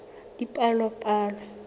dipalopalo